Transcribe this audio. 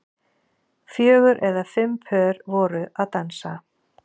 Fjögur eða fimm pör voru að dansa